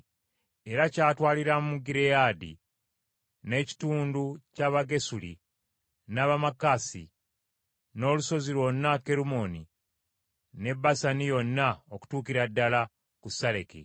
Era kyatwaliramu Gireyaadi, n’ekitundu ky’Abagesuli, n’Abamaakasi, n’olusozi lwonna Kerumooni ne Basani yonna okutuukira ddala ku Saleka.